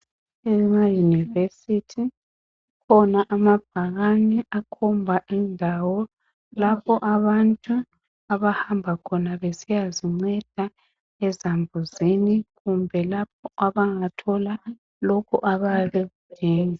Ema yunivesithi kukhona amabhakani akhobha indawo lapho abantu abahamba khona besiya zincenda ezambuzini kumbe lapho abangathola lokho abayabe bekudinga